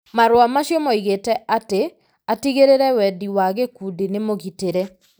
Marũa macio moigĩte atĩ atigĩrĩrĩ wendi wa gĩkundi nĩ mũgitĩrĩ.